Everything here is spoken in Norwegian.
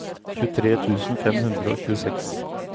tjuetre tusen fem hundre og tjueseks